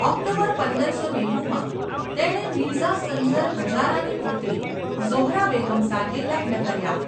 October પંદરસો નેવુંમાં , તેણે મિર્ઝા સંઝર હજારાની પુત્રી ઝોહરા બેગમ સાથે લગ્ન કર્યા.